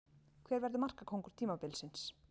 Hver verður markakóngur tímabilsins?